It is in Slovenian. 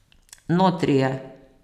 Notri je.